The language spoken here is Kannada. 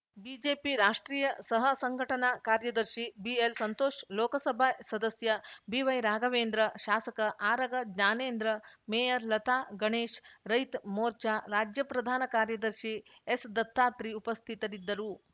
ಬಿಜೆಪಿ ರಾಷ್ಟ್ರೀಯ ಸಹ ಸಂಘಟನಾ ಕಾರ್ಯದರ್ಶಿ ಬಿಎಲ್ಸಂತೋಷ್‌ ಲೋಕಸಭೆ ಸದಸ್ಯ ಬಿವೈರಾಘವೇಂದ್ರ ಶಾಸಕ ಆರಗ ಜ್ಞಾನೇಂದ್ರ ಮೇಯರ್‌ ಲತಾ ಗಣೇಶ್‌ ರೈತ ಮೋರ್ಚಾ ರಾಜ್ಯ ಪ್ರಧಾನ ಕಾರ್ಯದರ್ಶಿ ಎಸ್‌ದತ್ತಾತ್ರಿ ಉಪಸ್ಥಿತರಿದ್ದರು